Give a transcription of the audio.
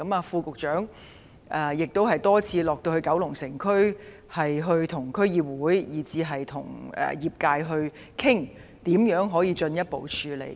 副局長更曾多次到九龍城區，與區議會和業界討論如何進一步處理問題。